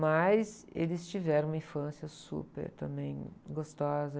Mas eles tiveram uma infância super também gostosa.